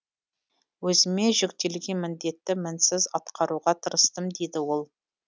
өзіме жүктелген міндетті мінсіз атқаруға тырыстым дейді ол